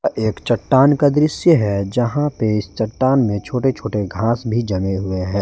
एक चट्टान का दृश्य है जहां पे इस चट्टान में छोटे छोटे घास भी जमे हुए हैं।